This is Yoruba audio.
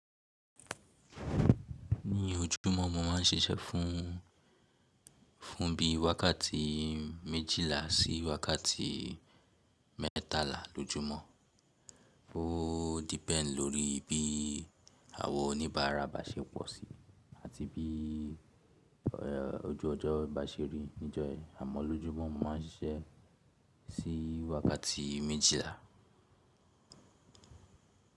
Ní ojúmọ́, mo máà ń ṣiṣẹ́ fún bí i wákàtí méjìlá sí wákàtí mẹ́tàlá lójúmọ́. Ó depend lórí bí àwọn oníbàárà bá ṣe pọ̀ sí i àti bí ojú ọjọ́ bá ṣe rí níjọ́ yẹn. Àmọ́ lójúmọ́, mo máà ń ṣiṣẹ́ sí i wákàtí méjìlá.